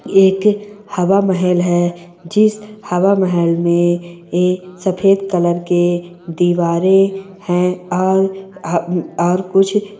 ये एक हवा महल है जिस हवा महल में ये सफेद कलर के दीवारें हैं और अं उम्म अं और कुछ--